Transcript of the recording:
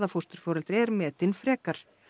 fósturforeldri er metin frekar